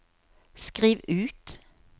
skriv ut